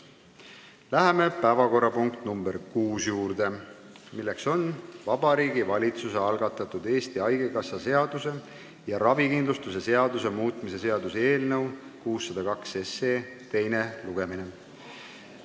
Läheme päevakorrapunkti nr 6 juurde, milleks on Vabariigi Valitsuse algatatud Eesti Haigekassa seaduse ja ravikindlustuse seaduse muutmise seaduse eelnõu 602 teine lugemine.